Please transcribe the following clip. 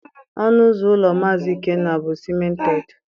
Ọnụ ụzọ ụlọ Maazi Ikenna bụ sịmented